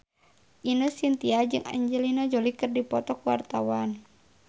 Ine Shintya jeung Angelina Jolie keur dipoto ku wartawan